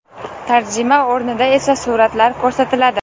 Tarjima o‘rnida esa suratlar ko‘rsatiladi.